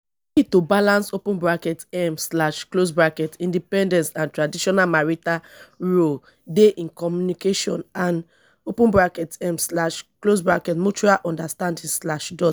key to balance open bracket um slash close bracket independence and traditional marital roles dey in communication and open bracket um slash close bracket mutual understanding slash dot